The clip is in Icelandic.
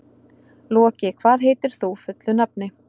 Loki, hvað heitir þú fullu nafni?